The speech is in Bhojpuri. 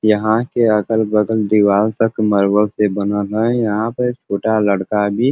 यहाँँ के अगल-बगल दीवाल तक मरबल से बनना है। यहाँँ पे छोटा लड़का भी --